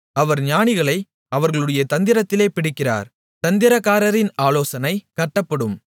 அவர் ஞானிகளை அவர்களுடைய தந்திரத்திலே பிடிக்கிறார் தந்திரக்காரரின் ஆலோசனை கட்டப்படும்